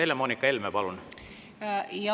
Helle-Moonika Helme, palun!